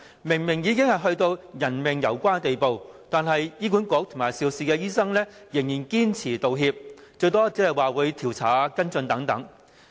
明明已到了人命攸關的地步，但醫院管理局和肇事醫生仍然堅拒道歉，最多只答允調查和跟進。